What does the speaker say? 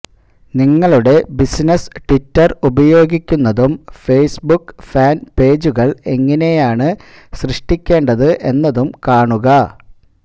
നിങ്ങളുടെ business Twitter ഉപയോഗിക്കുന്നതും Facebook fan പേജുകൾ എങ്ങനെയാണ് സൃഷ്ടിക്കേണ്ടത് എന്നതും കാണുക